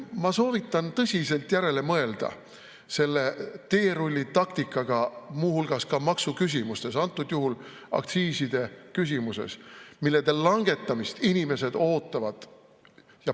Ma soovitan tõsiselt järele mõelda selle teerullitaktika suhtes muu hulgas ka maksuküsimustes, antud juhul aktsiiside küsimuses, mille langetamist inimesed ootavad.